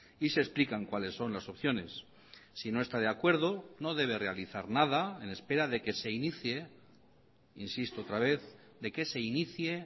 y se explican cuales son las opciones si no está de acuerdo no debe realizar nada en espera de que se inicie insisto otra vez de que se inicie